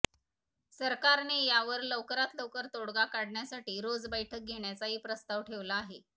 सरकारने यावर लवकरात लवकर तोडगा काढण्यासाठी रोज बैठक घेण्याचाही प्रस्ताव ठेवला आहे